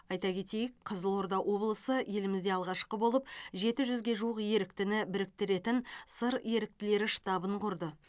айта кетейік қызылорда облысы елімізде алғашқы болып жеті жүзге жуық еріктіні біріктіретін сыр еріктілері штабын құрды